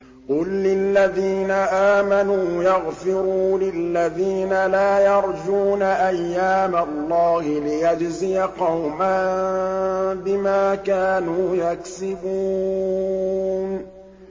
قُل لِّلَّذِينَ آمَنُوا يَغْفِرُوا لِلَّذِينَ لَا يَرْجُونَ أَيَّامَ اللَّهِ لِيَجْزِيَ قَوْمًا بِمَا كَانُوا يَكْسِبُونَ